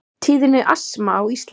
Tíðni astma á Íslandi